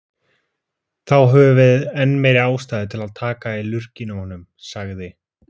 Þá höfum við enn meiri ástæðu til að taka í lurginn á honum, sagði